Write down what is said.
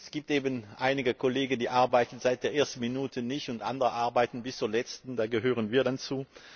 Es gibt eben einige Kollegen, die arbeiten seit der ersten Minute nicht, und andere arbeiten bis zur letzten, und da gehören wir dann dazu.